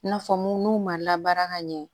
I n'a fɔ mun n'u ma labaara ka ɲɛ